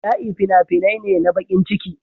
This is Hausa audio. Bala'i fina-finai ne na bakin ciki.